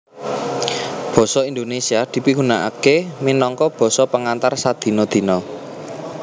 Basa Indonesia dipigunakaké minangka basa pengantar sadina dina